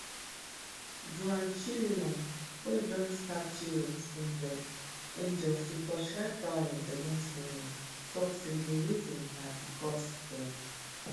joan chelimo wey join start tirops angels angels to torchlight violence against women tok say di reason na bicos dem